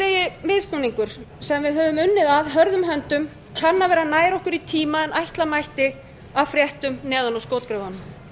sem við höfum unnið að hörðum höndum kann að vera nær okkur í tíma en ætla mætti af fréttum neðan úr skotgröfunum